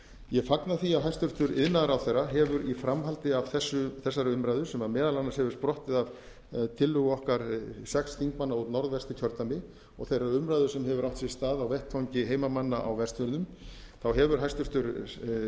ég fagna því að hæstvirtur iðnaðarráðherra hefur í framhaldi af þessari umræðu sem meðal annars afar sprottið af tillögu okkar sex þingmanna úr norðvesturkjördæmi og þeirrar umræðu sem hefur átt sér stað á vettvangi heimamanna á vestfjörðum hefur hæstvirtur